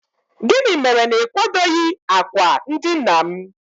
gịnị mere na ị kwadoghị akwa ndina'm?